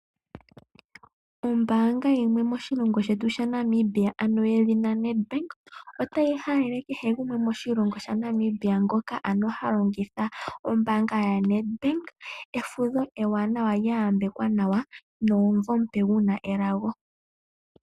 Oombanga yimwe moshilingo Shetu Sha Namibia ano yedhina Netbank otahi halele hehe gumwe moshilingo Sha Namibia ngoka ano ha longitha obanga ya Nedbank efudho ewanawa lya yambekwa nomumvo omupe guna elago.